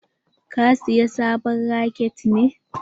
Ka saya sabon raket ne?